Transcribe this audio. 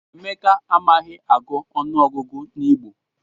Emeka amaghị agụ ọnụọgụgụ n'Igbo